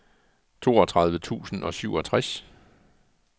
toogtredive tusind og syvogtres